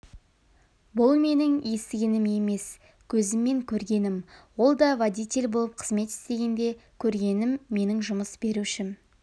бұл менің естігенім емес көзіммен көргенім оі да водитель болып қызмет істегенде көргенім менің жұмыс берушім